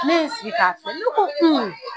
Ne ye n sigi ka filɛ ne ko